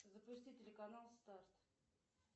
запусти телеканал старт